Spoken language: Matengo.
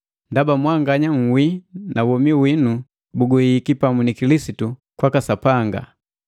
Ndaba mwanganya nhwii na womi winu buguhihiki pamu ni Kilisitu kwaka Sapanga.